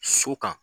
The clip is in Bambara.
So kan